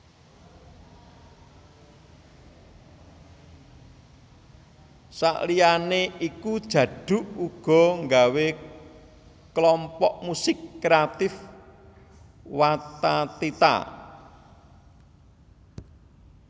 Saliyané iku Djaduk uga nggawé Klompok Musik Kreatif Wathathitha